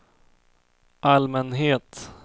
allmänhet